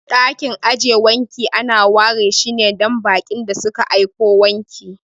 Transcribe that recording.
Ɗakin aje wanki ana ware shine dan baƙin da suka aiko wanki.